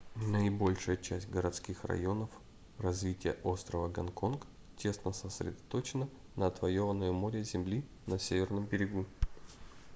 наибольшая часть городских районов развития острова гонконг тесно сосредоточено на отвоёванной у моря земли на северном берегу